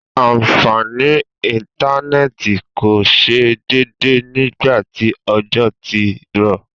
àǹfàní íntánẹ̀tì kò ṣe déédé nígbàtí òjò tí rọ̀